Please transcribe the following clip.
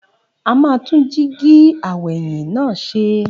A máa tún jíígi aw'ẹ̀yìn náà ṣe.